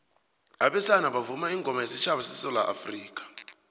abesana bavuma ingoma wesutjhaba sesewula afrikha